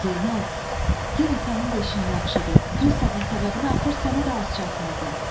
Zeynal, yenə sənin də işin yaxşıdır, pristavın səbəbinə axır sənə də az çatmırdı.